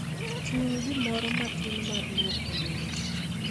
Ting' gimoro matin mar lwoko lewni.